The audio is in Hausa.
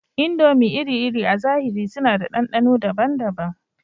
Indomie iri-iri a zahiri suna da ɗanɗano daban-daban